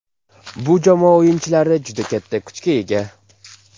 Bu jamoa o‘yinchilari juda katta kuchga ega.